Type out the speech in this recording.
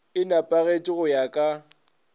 e nepagetše go ya ka